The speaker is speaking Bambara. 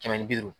Kɛmɛ ni bi duuru